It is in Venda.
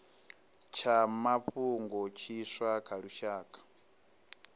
tsha mafhungo tshiswa tsha lushaka